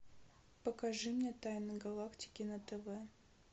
покажи мне тайны галактики на тв